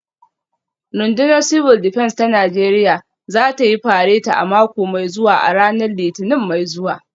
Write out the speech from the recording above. Rundunar Civil Defence ta Najeriya za ta yi fareti a mako mai zuwa a ranar Litinin mai zuwa